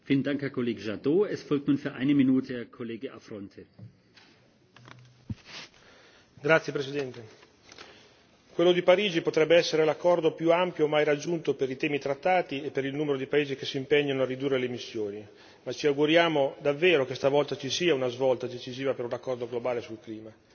Signor Presidente, onorevoli colleghi, quello di Parigi potrebbe essere l'accordo più ampio mai raggiunto per i temi trattati e per il numero di paesi che si impegnano a ridurre le emissioni. Ci auguriamo davvero che questa volta ci sia una svolta decisiva per un accordo globale sul clima.